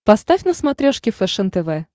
поставь на смотрешке фэшен тв